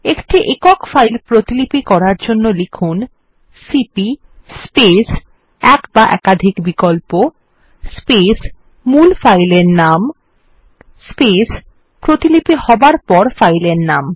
একটি একক ফাইল প্রতিলিপি করার জন্য লিখুন সিপি স্পেস এক বা একাধিক বিকল্প স্পেস মূল ফাইল এর নাম স্পেস প্রতিলিপি হবার পর ফাইল এর নাম